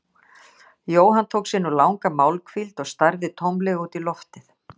Jóhann tók sér nú langa málhvíld og starði tómlega út í loftið.